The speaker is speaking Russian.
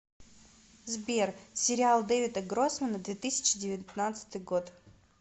сбер сериал дэвида гроссмана две тысячи девятнадцатый год